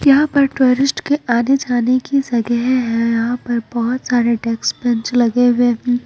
यहाँ पर टूरिस्ट के आने-जाने की जगह है यहाँ पर बहोत सारे डेक्स बेंच लगे हुए हैं।